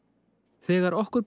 þegar okkur ber